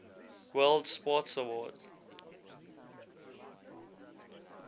world sports awards